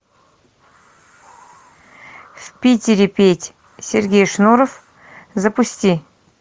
в питере пить сергей шнуров запусти